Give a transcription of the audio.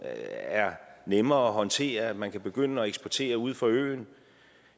er nemmere at håndtere at man kan begynde at eksportere ude fra øen